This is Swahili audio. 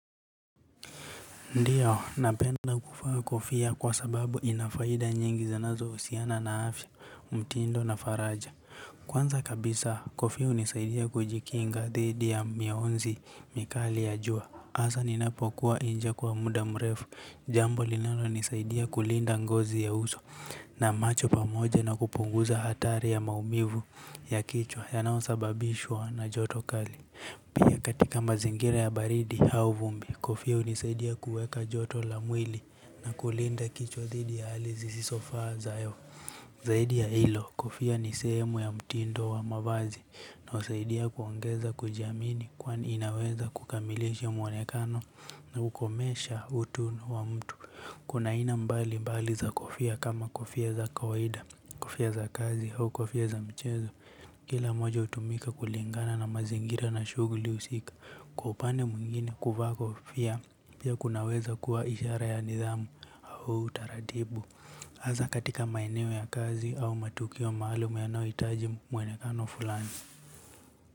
Ndiyo, napenda kuvaa kofia kwa sababu ina faida nyingi zinazo husiana na afya, mtindo na faraja. Kwanza kabisa, kofia hunisaidia kujikinga dhidi ya mionzi mikali ya jua. Asa ninapokuwa nje kwa muda mrefu, jambo linalo nisaidia kulinda ngozi ya uso. Na macho pamoja na kupunguza hatari ya maumivu ya kichwa ya nayosababishwa na jotokali. Pia katika mazingira ya baridi au vumbi, kofia unisaidia kuweka joto la mwili na kulinda kichwa zidi ya hali zisizofaa za hewa. Zaidi ya hilo, kofia ni sehemu ya mtindo wa mavazi na husaidia kuongeza kujiamini kwani inaweza kukamilisha mwonekano na ukomesha utu wa mtu. Kuna ina mbali mbali za kofia kama kofia za kawaida, kofia za kazi au kofia za michezo. Kila mmoja hutumika kulingana na mazingira na shughuli husika. Kwaupande mwingine kuvaa kofia pia kunaweza kuwa ishara ya nidhamu. Au utaratibu. Hasa katika maeneo ya kazi au matukio maalumu yanayohitaji muonekano fulani.